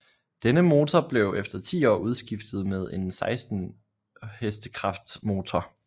Denne motor blev efter ti år udskiftet med en 16 HK motor